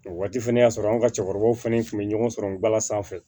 O waati fɛnɛ y'a sɔrɔ an ka cɛkɔrɔbaw fana tun bɛ ɲɔgɔn sɔrɔ bala sanfɛ